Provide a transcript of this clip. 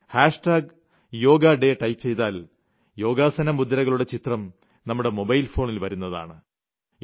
hash tag yoga day type ചെയ്താൽ യോഗാസന മുദ്രകളുടെ ചിത്രം നമ്മുടെ മൊബൈൽ ഫോണിൽ വരുന്നതാണ്